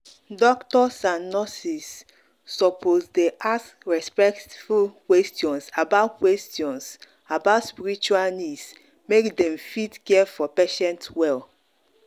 doctors and nurses suppose dey ask respectful questions about questions about spiritual needs make dem fit care for patient well.